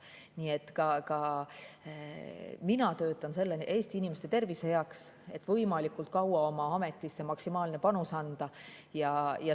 Nii et mina töötan Eesti inimeste tervise heaks, püüdes võimalikult kaua oma ametis maksimaalset panust anda.